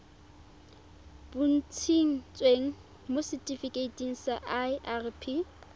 bontshitsweng mo setifikeiting sa irp